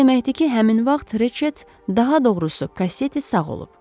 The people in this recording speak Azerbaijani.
Bu o deməkdir ki, həmin vaxt Reçet daha doğrusu Kaseti sağ olub.